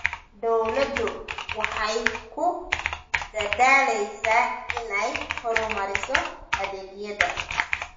Dawladdu waxay ku dadaalaysaa inay horumariso adeegyada.